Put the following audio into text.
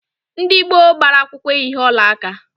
Ndị gboo gbara akwụkwọ eyighi ọlaaka